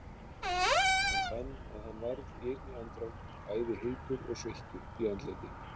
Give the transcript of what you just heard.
Hann fann að hann varð í einni andrá bæði heitur og sveittur í andliti.